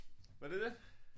Var det det?